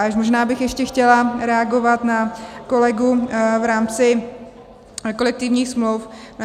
A možná bych ještě chtěla reagovat na kolegu v rámci kolektivních smluv.